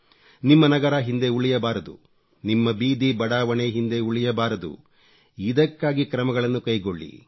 ನಿಮ್ಮ ನಗರ ಹಿಂದೆ ಉಳಿಯಬಾರದು ನಿಮ್ಮ ಬೀದಿ ಬಡಾವಣೆ ಹಿಂದೆ ಉಳಿಯಬಾರದು ಇದಕ್ಕಾಗಿ ಕ್ರಮಗಳನ್ನು ಕೈಗೊಳ್ಳಿ